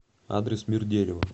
адрес мир дерева